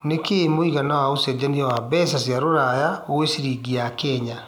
nĩ kĩĩ mũigana wa ũcejanĩa wa mbeca cĩa rũraya gwĩ ciringi ya Kenya